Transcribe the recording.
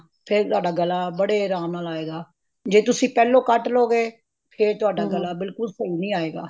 ਫ਼ੇਰ ਤੁਹਾਡਾ ਗਲਾ ਬੜੇ ਆਰਾਮ ਨਾਲ ਆਏਗਾ ਜੇ ਤੁਸੀਂ ਪਹਿਲੋ ਕੱਟ ਲੋਗੇ ਫ਼ੇਰ ਤੁਹਾਡਾ ਗਲਾ ਬਿਲਕੁਲ ਸਹੀ ਨੀ ਆਇਗਾ